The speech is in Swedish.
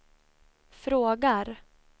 frågar